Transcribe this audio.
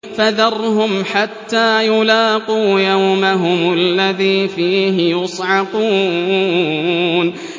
فَذَرْهُمْ حَتَّىٰ يُلَاقُوا يَوْمَهُمُ الَّذِي فِيهِ يُصْعَقُونَ